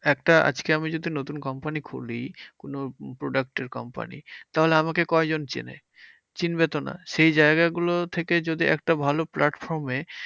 একটা আমি যদি নতুন কোম্পানি খুলি, কোনো product এর কোম্পানি। তাহলে আমাকে কয়জন চেনে? চিনবে তো না, সেই জায়গা গুলো থেকে যদি একটা ভালো platform এ